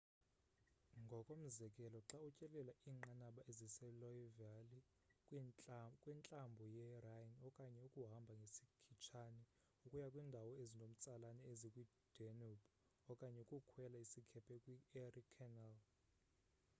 ngokomzekelo xa utyelela iinqaba eziseloire valley kwintlambo yerhine okanye ukuhamba ngesikhitshane ukuya kwindawo ezinomtsalane ezikwidanube okanye ukukhwela isikhephe kwi-erie canal